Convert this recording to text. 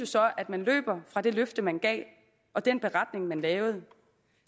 så løber fra det løfte man gav og den beretning man lavede